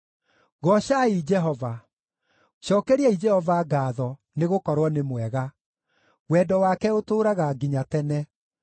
Goocai Jehova. Cookeriai Jehova ngaatho, nĩgũkorwo nĩ mwega; wendo wake ũtũũraga nginya tene.